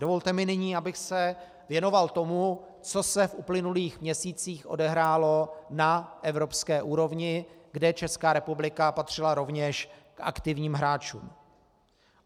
Dovolte mi nyní, abych se věnoval tomu, co se v uplynulých měsících odehrálo na evropské úrovni, kde Česká republika patřila rovněž k aktivním hráčům.